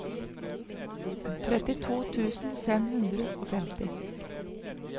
trettito tusen fem hundre og femti